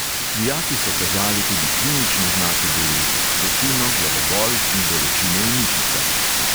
Dijaki so kazali tudi klinične znake bolezni, vročino, glavobol in bolečine v mišicah.